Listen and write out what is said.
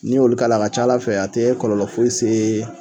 Ni olu k'a la a ka ca Ala fɛ a tɛ kɔlɔlɔ foyi see